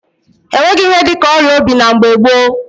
E nweghị ihe dị ka ọrịa obi na mgbe gboo.